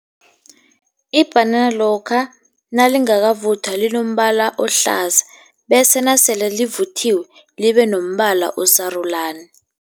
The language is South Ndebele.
Ibhanana lokha nalingakavuthwa linombala ohlaza, bese nasele livuthiwe libe nombala osarulani.